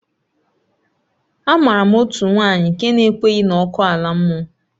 Amaara m otu nwanyị nke na-ekweghị na ọkụ ala mmụọ